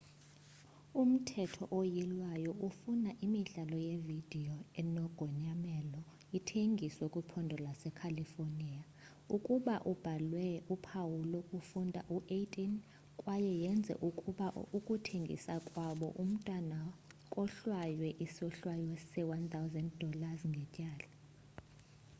umthetho oyilwayo ufuna imidlalo yevidiyo enogonyamelo ithengiswe kwiphondo lasecalifornia ukuba ibhalwe uphawu lokufunda u-18 kwaye yenze ukuba ukuthengisa kwabo umntwana kohlwaywe isohlwayo se- $ 1000 ngetyala